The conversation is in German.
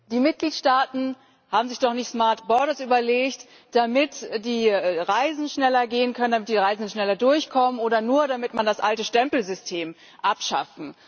Die Mitgliedstaaten haben sich doch nicht überlegt, damit die Reisen schneller gehen können, damit die Reisenden schneller durchkommen oder nur, damit man das alte Stempelsystem abschafft.